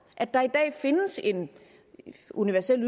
at der i dag findes en universel